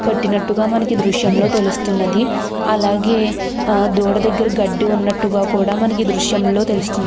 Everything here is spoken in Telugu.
కట్టినట్టుగా మనకి దృశ్యంలో తెలుస్తున్నది. అలాగే దూడ దగ్గర గడ్డి ఉన్నట్టుగా కూడా మనకి దృశ్యంలో తెలుస్తుంది.